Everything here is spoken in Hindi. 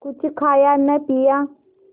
कुछ खाया न पिया